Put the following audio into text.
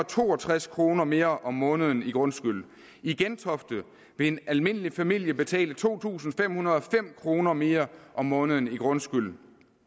to og tres kroner mere om måneden i grundskyld i gentofte vil en almindelig familie betale to tusind fem hundrede og fem kroner mere om måneden i grundskyld